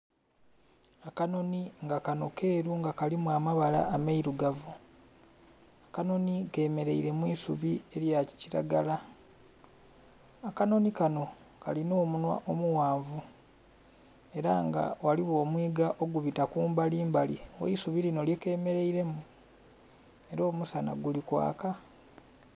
Akanonhi nga kanho keru nga kalimu amabala ameirugavu, akanonhi kemereire mwisubi elya kilagala, akanonhi kanho kalina omunhwa omughanvu era nga ghaligho omwiiga ogubita kumbali mbali ghe isubi linho lye kemereiremu era nga omusana guli kwaaka.